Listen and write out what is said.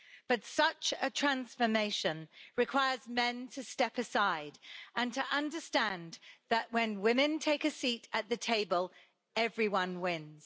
But such a transformation requires men to step aside and to understand that, when women take a seat at the table, everyone wins.